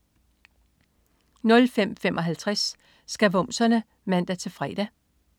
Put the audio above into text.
05.55 Skavumserne (man-fre)